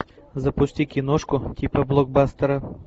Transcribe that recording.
запусти киношку типа блокбастера